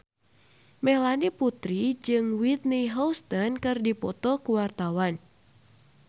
Melanie Putri jeung Whitney Houston keur dipoto ku wartawan